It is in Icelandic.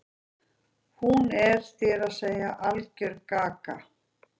Hún er, þér að segja, algerlega gaga.